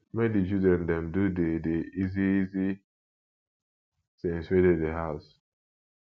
make di children dem do di di easy easy things wey dey di house